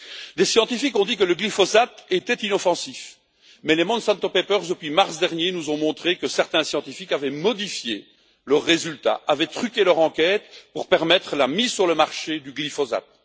Des scientifiques ont dit que le glyphosate était inoffensif, mais les Monsanto Papers, depuis mars dernier, nous ont montré que certains scientifiques avaient modifié leurs résultats et avaient truqué leur enquête pour permettre la mise sur le marché du glyphosate.